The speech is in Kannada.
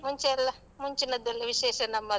ಮುಂಚೆ ಎಲ್ಲ ಮುಂಚಿನದ್ದೆಲ್ಲಾ ವಿಶೇಷ ನಮ್ಮದು.